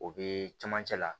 O bee cɛmancɛ la